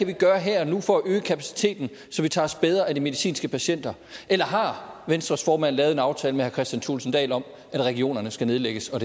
kan gøre her og nu for at øge kapaciteten så vi tager os bedre af de medicinske patienter eller har venstres formand lavet en aftale med herre kristian thulesen dahl om at regionerne skal nedlægges og